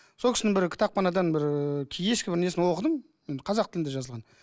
сол кісінің бір кітапханадан бір ііі ескі бір несін оқыдым енді қазақ тілінде жазылған